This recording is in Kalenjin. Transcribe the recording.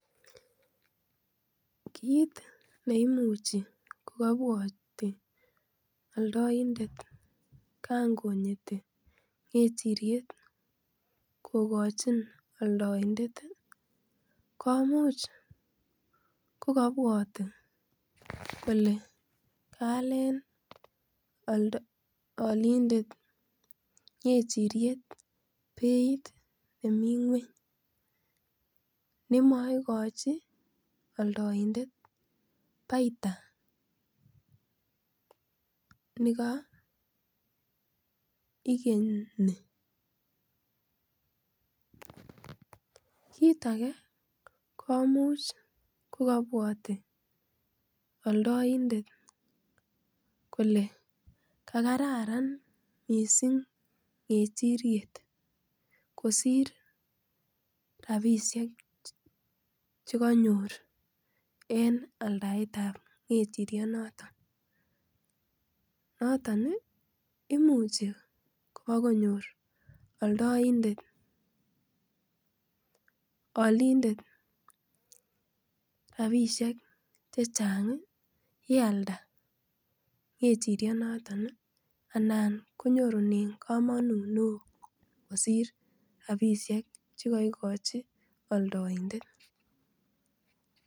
Kit neimuch ko kabwoti oldaindet kangonyit kechiriet kokochi aldoindet ii komuch kokobwati kole kaalen olindet kechiriet beit nemi ngweny nemoikochi oldoindet baita nekoikeni, kit age komuch kokobwati oldoindet kole kakararan missing kerchiriet kosir rapisiek chekonyor en aldaetab kechirionoton noton ii imuchi kobokonyor oldoindet, olindet rapisiek chechang yealda kechirionoton anan konyorunen komonut neo kosir rapisiek chekoikochi olndoindet.